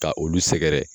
Ka olu sɛgɛrɛ